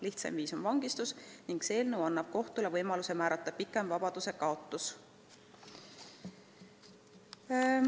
Lihtsaim viis selleks on vangistus ning see eelnõu tahabki anda kohtule võimaluse määrata pikem vabadusekaotus.